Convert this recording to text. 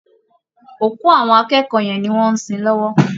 Òkú àwọn akẹ́kọ̀ọ́ yẹn ni wọ́n ń sin lọ́wọ́